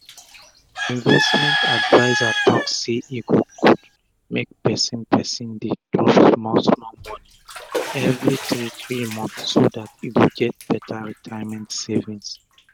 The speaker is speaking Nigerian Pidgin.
the investment adviser talk sey e go gud make persin persin dey drop small small moni everi three three months so dat e go get beta retirement savings